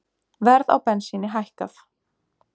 Verð á bensíni hækkað